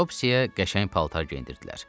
Topsyə qəşəng paltar geyindirdilər.